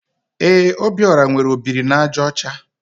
Ee, Obiora nwere ọ biri na àjà ọcha.